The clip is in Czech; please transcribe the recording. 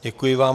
Děkuji vám.